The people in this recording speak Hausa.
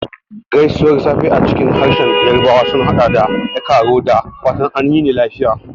Gaisuwar safe a cikin harshen Yarbawa sun haɗa da "E kaaro," da fatan a yini lafiya.